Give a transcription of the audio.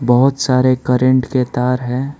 बहुत सारे करंट के तार हैं।